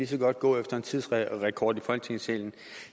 så godt gå efter en tidsrekord i folketingssalen